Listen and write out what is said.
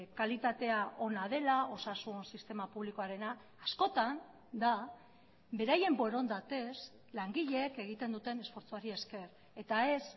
kalitatea ona dela osasun sistema publikoarena askotan da beraien borondatez langileek egiten duten esfortzuari esker eta ez